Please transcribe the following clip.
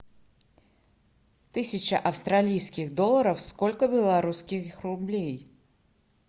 тысяча австралийских долларов сколько белорусских рублей